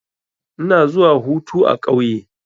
Ina zuwa hutu a ƙauye.